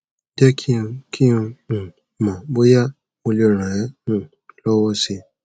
je ki n ki n um mo boya mo le ran e um lowosi